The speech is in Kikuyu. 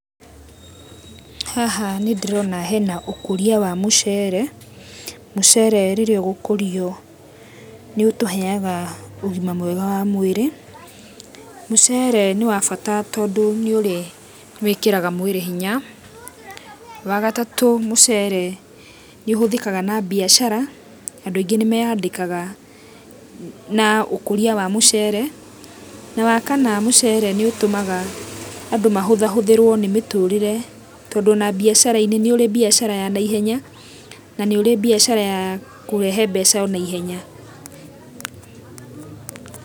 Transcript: Haha nĩndĩrona hena ũkũria wa mũcere, mũcere rĩrĩa ũgũkũrio nĩũtũhega ũgima mwega wa mwĩrĩ, mũcere nĩ wa bata tondũ nĩwĩkĩraga mwĩrĩ hinya, wagatatũ mũcere nĩ ũhĩthĩkaga na biacara andũ aingĩ nĩ meandĩkaga na ũkũrĩa wa mũcere na wakana mũcere nĩ ũtũmaga andũ mahũthahũthĩrwe nĩ mĩtũrĩre tondũ nona biacarainĩ nĩũrĩ biacara ya naihenya na nĩũrĩ biacara ya kũrehee mbeca nihenya.